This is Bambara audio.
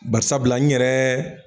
Bari sabula n yɛrɛɛ